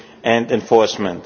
and enforcement.